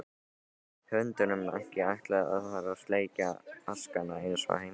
Hundunum ekki ætlað þar að sleikja askana eins og heima.